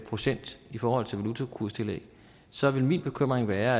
procent i forhold til valutakurstillæg så vil min bekymring være